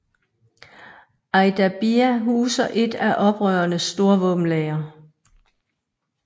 Ajdabiya huser et af oprørenes store våbenlagre